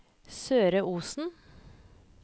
Søre Osen